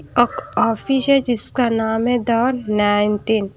एक ऑफिस है जिसका नाम है द नाइनटीन --